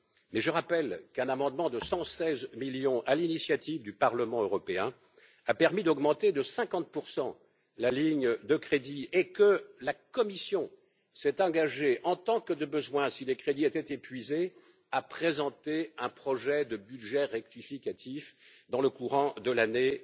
Mais je rappelle qu'un amendement de 116 millions à l'initiative du Parlement européen a permis d'augmenter de 50 la ligne de crédit et que la Commission s'est engagée, en tant que de besoin si les crédits étaient épuisés, à présenter un projet de budget rectificatif dans le courant de l'année